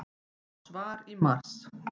Fá svar í mars